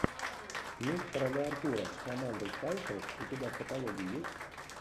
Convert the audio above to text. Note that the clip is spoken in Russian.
меч короля артура с амандой сейфрид у тебя в каталоге есть